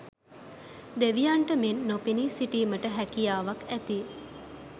දෙවියන්ට මෙන් නොපෙනී සිටීමට හැකියාවක් ඇති,